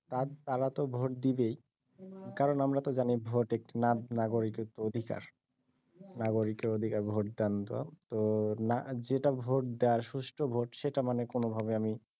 তারাতো vote দিবেই কারন আমরাতো জানিই ভোট একটি নাগরিকক্ত অধিকার নাগরিকের অধিকার ভোট দানতো তো না যেটা ভোট দেওয়ার সুষ্ঠ ভোট সেটা মানে কোনভাবে আমি